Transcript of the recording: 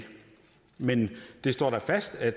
men det står da fast at